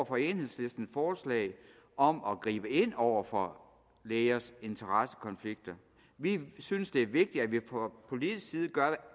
for enhedslistens forslag om at gribe ind over for lægers interessekonflikter vi synes det er vigtigt at vi fra politisk side gør